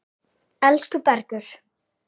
Elsku Bergur.